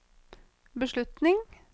beslutning